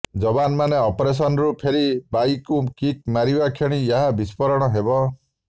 ଯବାନମାନେ ଅପରେସନ୍ରୁ ଫେରି ବାଇକ୍କୁ କିକ୍ ମାରିବା କ୍ଷଣି ଏହା ବିସ୍ଫୋରଣ ହେବ